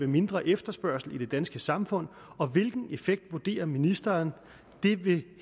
mindre efterspørgsel i det danske samfund og hvilken effekt vurderer ministeren det vil